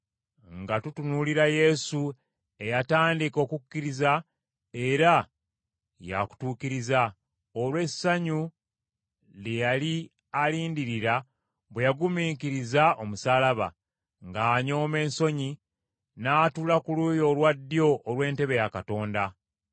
nga tutunuulira Yesu eyatandika okukkiriza era y’akutuukiriza, olw’essanyu lye yali alindirira bwe yagumiikiriza omusaalaba, ng’anyooma ensonyi, n’atuula ku luuyi olwa ddyo olw’entebe ya Katonda.